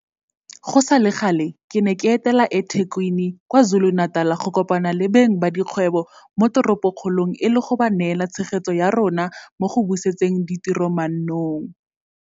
Go sale gale, ke ne ka etela eThekwini kwa KwaZuluNatal go kopana le beng ba dikgwebo mo toropokgolong e le go ba neela tshegetso ya rona mo go busetseng ditiro mannong.